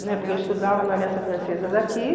Né? Porque eu estudava na aliança francesa daqui.